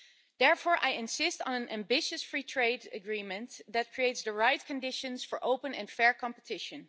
Therefore, I insist on an ambitious Free Trade Agreement that creates the right conditions for open and fair competition.